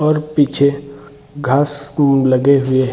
और पीछे घास लगे हुए हैं ।